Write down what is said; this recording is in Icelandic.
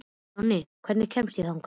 Jonni, hvernig kemst ég þangað?